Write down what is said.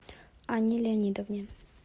анне леонидовне